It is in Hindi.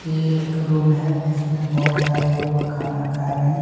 ये एक रूम है जिसमें बहुत सारे लोग खाना खा रहे हैं।